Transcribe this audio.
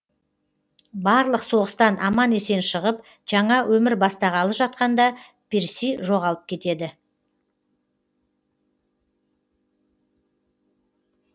барлық соғыстан аман есен шығып жаңа өмір бастағалы жатқанда перси жоғалып кетеді